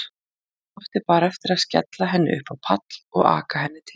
Ég átti bara eftir að skella henni upp á pall og aka henni til þín.